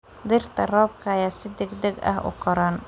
Dhirta roobka ayaa si degdeg ah u koraan.